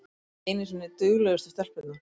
Ekki einu sinni duglegustu stelpurnar!